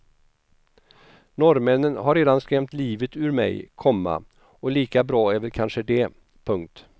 Norrmännen har redan skrämt livet ur mig, komma och lika bra är väl kanske det. punkt